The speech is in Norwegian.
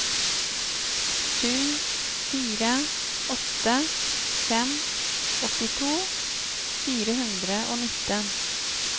sju fire åtte fem åttito fire hundre og nitten